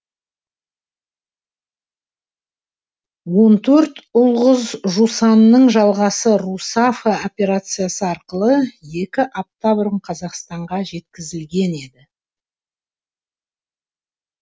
он төрт ұл қыз жусанның жалғасы русафа операциясы арқылы екі апта бұрын қазақстанға жеткізілген еді